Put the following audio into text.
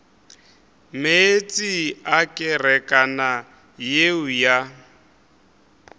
meetse a kerekana yeo ya